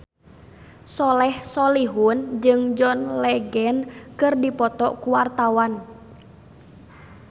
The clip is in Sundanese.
Soleh Solihun jeung John Legend keur dipoto ku wartawan